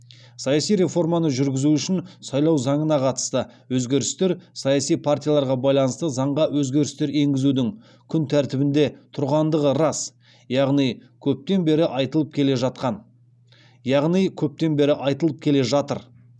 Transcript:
саяси реформаны жүргізу үшін сайлау заңына қатысты өзгерістер саяси партияларға байланысты заңға өзгерістер енгізудің күн тәртібінде тұрғандығы рас яғни көптен бері айтылып келе жатыр